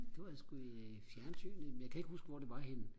det var sku i fjernsynet men jeg kan ikke huske hvor det var henne